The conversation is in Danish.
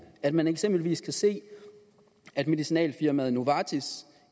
at man eksempelvis kan se at medicinalfirmaet novartis